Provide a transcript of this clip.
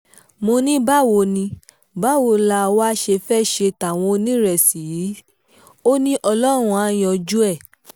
mo ní báwo ní báwo la wáá ṣe fẹ́ẹ́ ṣe táwọn onírésì yìí sí ọ ni ọlọ́run àá yanjú ẹ̀